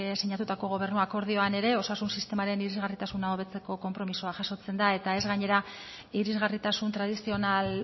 sinatutako gobernu akordioan ere osasun sistemaren irisgarritasuna hobetzeko konpromisoa jasotzen da eta ez gainera irisgarritasun tradizional